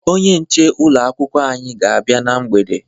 Onye nche ụlọ akwụkwọ anyị ga-abịa na mgbede